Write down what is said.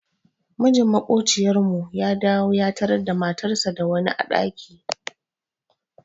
Mijin maƙociyar mu ya dawo ya tarar da matarsa da wani a ɗaki.